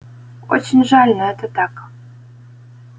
очень жаль но это так